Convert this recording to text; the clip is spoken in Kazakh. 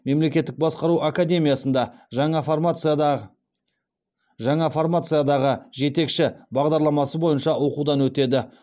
мемлекеттік басқару академиясында жаңа формациядағы жетекші бағдарламасы бойынша оқудан өтеді